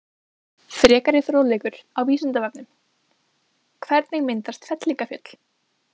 Frekari fróðleikur á Vísindavefnum: Hvernig myndast fellingafjöll?